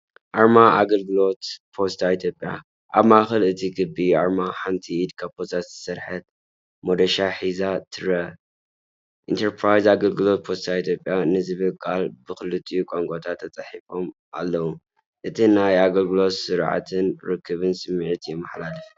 ኣርማ ኣገልግሎት ፖስታ ኢትዮጵያ፣ ኣብ ማእከል እቲ ክቢ ኣርማ፡ ሓንቲ ኢድ ካብ ፖስታ ዝተሰርሐ መዶሻ ሒዛ ትርአ። "ኢንተርፕራይዝ ኣገልግሎት ፖስታ ኢትዮጵያ"ን ዝብሉ ቃላት ብኽልቲኡ ቋንቋታት ተጻሒፎም ኣለዉ። እቲ ናይ ኣገልግሎትን ስርዓትን ርክብን ስምዒት የመሓላልፍ።